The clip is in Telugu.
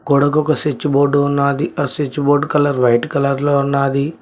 గోడకు ఒక స్విచ్ బోర్డు ఉన్నది ఆ switch board colour white colour లో ఉన్నది.